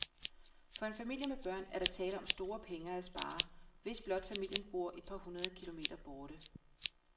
For en familie med børn er der tale om store penge at spare, hvis blot familien bor et par hundrede kilometer borte.